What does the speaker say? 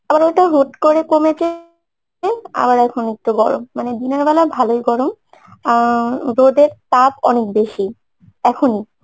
আবার ওটা হুট করে কমেছে আবার এখন একটু গরম মানে দিনের বেলায় ভালোই গরম আহ রোদের তাপ অনেক বেশী, এখনই